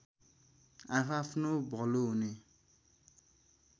आआफ्नो भलो हुने